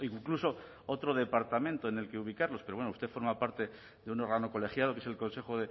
incluso otro departamento en el que ubicarlos pero bueno usted forma parte de un órgano colegiado que es el consejo